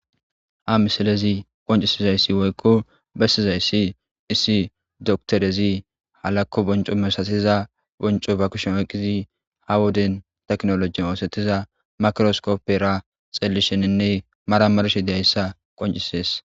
ha misalezi qoncisizayssi woykko bessizayssi issi doktorezi halakko bonco mesasiza bonco ba kushon oyqqizi ha woden teknolojin oosettiza makroskoppera xellisheninne maramarshe deyayssa qoncisees